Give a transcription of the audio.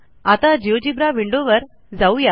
आता जिओजेब्रा विंडोवर जाऊ या